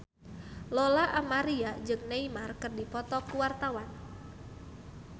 Lola Amaria jeung Neymar keur dipoto ku wartawan